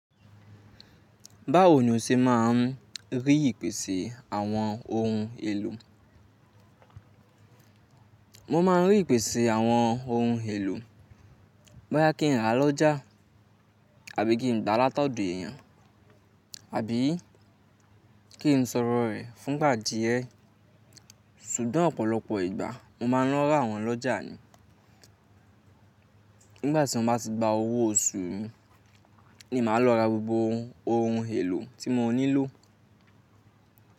Báwo ni o ṣe máa ń rí ìpèsè àwọn ohun èlò? Mo ma ń rí ìpèsè àwọn ohun èlò bóyá kí n rà lọ́jà àbí kí n gbà látọ̀dọ̀ èèyàn, àbí kí n sọ̀rọ̀ rẹ̀ fún ìgbà díẹ̀. Ṣùgbọ́n ọ̀pọ̀lọpọ̀ ìgbà mo ma ń lọ ra wọ́n lọ́jà ni. Nígbàtí mo bá ti gba owó oṣù mi ni màá lọ ra gbogbo ohun èlò tí mo nílò.